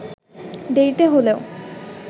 দেরিতে হলেও